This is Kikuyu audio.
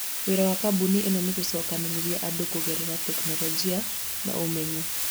Wĩra wa kambuni ĩno nĩ gũcokanĩrĩria andũ kũgerera tekinoronjĩ na ũmenyo.